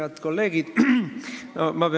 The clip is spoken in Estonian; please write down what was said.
Head kolleegid!